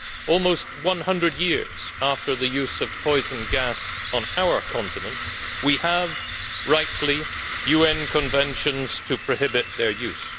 Almost one hundred years after the use of poison gas on our continent we have rightly UN Conventions to prohibit their use.